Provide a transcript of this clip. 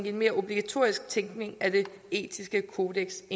en mere obligatorisk tænkning af det etiske kodeks